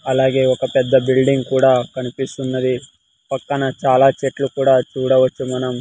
అలాగే ఒక పెద్ద బిల్డింగ్ కూడా కనిపిస్తున్నది పక్కన చాలా చెట్లు కూడా చూడవచ్చు మనం--